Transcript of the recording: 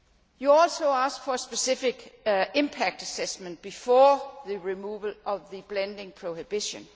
You also asked for a specific impact assessment before the removal of the blending prohibition.